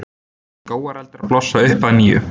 Skógareldar blossa upp að nýju